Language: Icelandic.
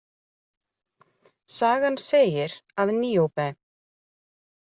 Sagan segir að Níóbe.